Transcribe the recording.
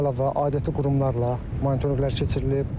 Bundan əlavə adyeti qurumlarla monitorinqlər keçirilib.